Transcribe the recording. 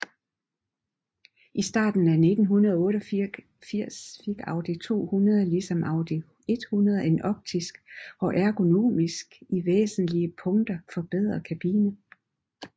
I starten af 1988 fik Audi 200 ligesom Audi 100 en optisk og ergonomisk i væsentlige punkter forbedret kabine